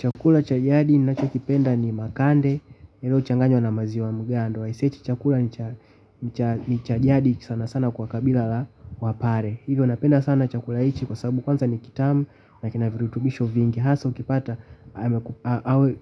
Chakula cha jadi ninachokipenda ni makande, yaliochanganywa na maziwa mgando, aise hichi chakula ni cha jadi sanasana kwa kabila la wapare. Hivyo napenda sana chakula hichi kwa sababu kwanza ni kitamu, na kina virutubisho vingi, haswa ukipata,